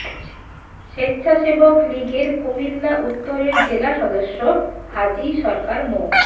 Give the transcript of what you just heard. স্বেচ্ছাসেবক লীগের কুমিল্লা উত্তরের জেলা সদস্য হাজী সরকার মো